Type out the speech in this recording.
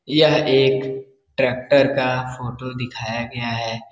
यह एक ट्रेक्टर का फोटो दिखाया गया है।